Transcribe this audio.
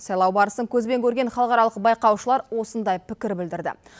сайлау барысын көзбен көрген халықаралық байқаушылар осындай пікір білдірді